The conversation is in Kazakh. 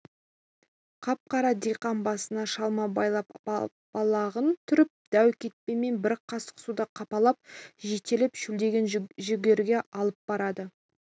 қап-қара диқан басына шалма байлап балағын түріп дәу кетпенмен бір қасық суды қақпалап жетелеп шөлдеген жүгеріге алып барады